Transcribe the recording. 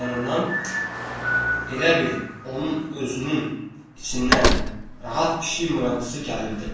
Lap yanından elə bil onun özünün içindən rahat pişik murultusu gəlirdi.